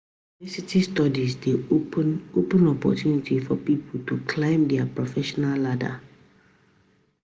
University Studies dey open open opportunity for pipo to climb di professional ladder